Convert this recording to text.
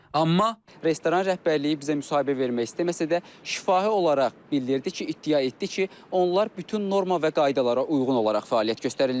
Amma restoran rəhbərliyi bizə müsahibə vermək istəməsə də şifahi olaraq bildirdi ki, iddia etdi ki, onlar bütün norma və qaydalara uyğun olaraq fəaliyyət göstərirlər.